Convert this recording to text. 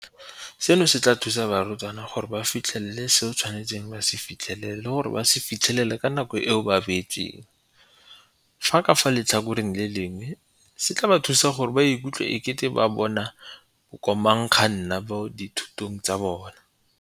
Seno se tla thusa barutwana gore ba fitlhelele seo ba tshwanetseng go se fitlhelela le go se fitlhelela ka nako eo ba e beetsweng, fa ka fa letlhakoreng le lengwe se tla ba thusa gore ba ikutlwe e kete ke bona bo komangkanna mo dithutong tsa bona.